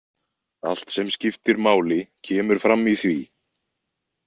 Allt sem skiptir máli kemur fram í því.